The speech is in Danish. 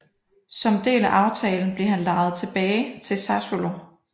Som del af aftalen blev han lejet tilbage til Sassuolo